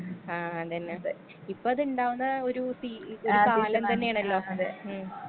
ആ അതന്നതെ ഇപ്പതിണ്ടാവ്ന്ന ഒരു ഒരു കാലം തന്നേണല്ലോ ഉം.